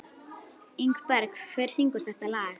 Ingberg, hver syngur þetta lag?